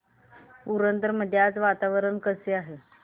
पुरंदर मध्ये आज वातावरण कसे आहे